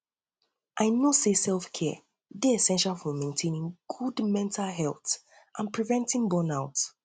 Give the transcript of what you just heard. i know say selfcare dey essential for essential for maintaining good mental health and preventing burnout